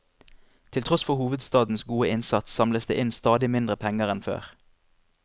Til tross for hovedstadens gode innsats samles det inn stadig mindre penger enn før.